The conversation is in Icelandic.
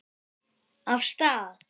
Af stað!